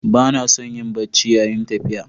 Ba na son yin barci yayin tafiya.